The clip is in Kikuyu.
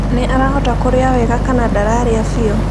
Nĩ arahota kũrĩa wega kana ndararĩa biũ?